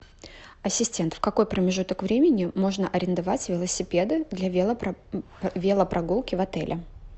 ассистент в какой промежуток времени можно арендовать велосипеды для велопрогулки в отеле